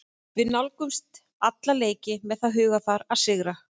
Við nálgumst alla leiki með það hugarfar að sigra.